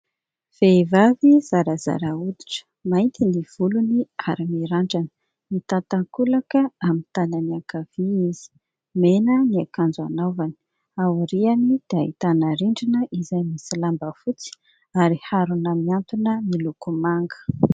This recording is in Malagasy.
Vehivavy zarazara hoditra, mainty ny volony ary mirandrana, mitantakolaka amin'ny tanany ankavia izy, mena ny akanjo anaovany, aoriany dia ahitana rindrina izay misy lamba fotsy ary harona miantona miloko manga.